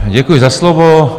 Děkuji za slovo.